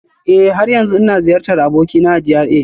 Eh, har yanzu ina ziyartar abokina a GRA